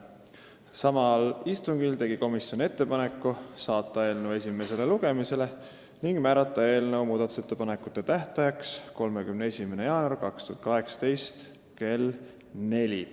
Samal istungil tegi komisjon ettepaneku saata eelnõu esimesele lugemisele ja määrata muudatusettepanekute tähtajaks 31. jaanuari 2018 kell 16.